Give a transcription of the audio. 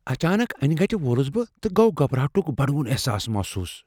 اچانک انہِ گٕٹہِ وولٗس بہٕ ، تہٕ گو٘ گھبراہٹٗك بڈوٗن احساس محسوس ۔